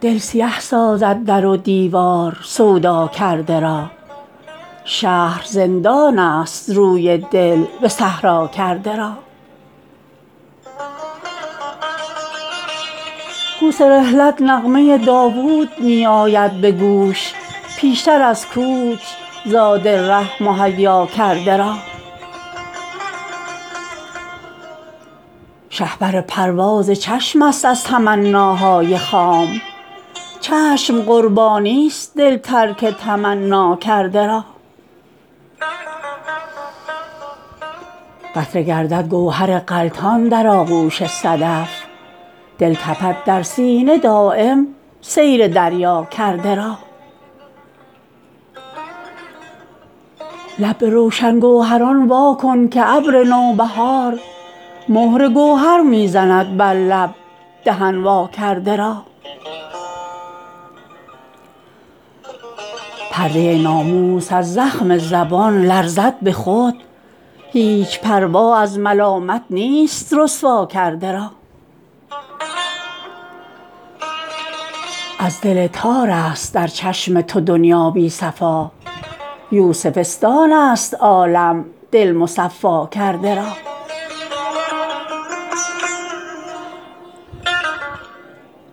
دل سیه سازد در و دیوار سودا کرده را شهر زندان است روی دل به صحرا کرده را کوس رحلت نغمه داود می آید به گوش پیشتر از کوچ زاد ره مهیا کرده را شهپر پرواز چشم است از تمناهای خام چشم قربانی است دل ترک تمنا کرده را قطره گردد گوهر غلطان در آغوش صدف دل تپد در سینه دایم سیر دریا کرده را لب به روشن گوهران وا کن که ابر نوبهار مهر گوهر می زند بر لب دهن وا کرده را پرده ناموس از زخم زبان لرزد به خود هیچ پروا از ملامت نیست رسوا کرده را از دل تارست در چشم تو دنیا بی صفا یوسفستان است عالم دل مصفا کرده را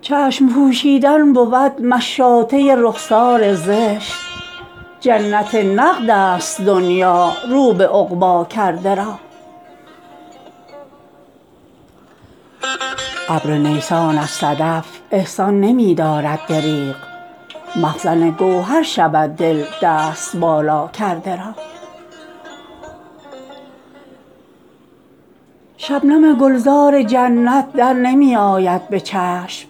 چشم پوشیدن بود مشاطه رخسار زشت جنت نقدست دنیا رو به عقبی کرده را ابر نیسان از صدف احسان نمی دارد دریغ مخزن گوهر شود دل دست بالا کرده را شبنم گلزار جنت در نمی آید به چشم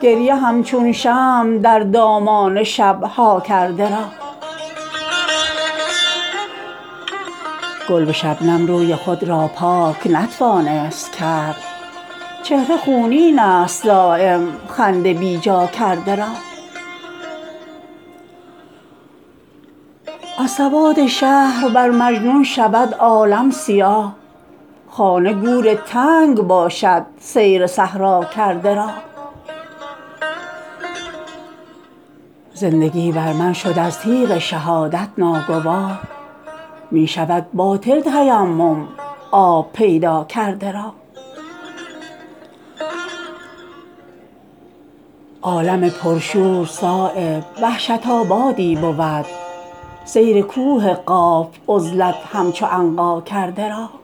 گریه همچون شمع در دامان شب ها کرده را گل به شبنم روی خود را پاک نتوانست کرد چهره خونین است دایم خنده بی جا کرده را از سواد شهر بر مجنون شود عالم سیاه خانه گور تنگ باشد سیر صحرا کرده را زندگی بر من شد از تیغ شهادت ناگوار می شود باطل تیمم آب پیدا کرده را عالم پر شور صایب وحشت آبادی بود سیر کوه قاف عزلت همچو عنقا کرده را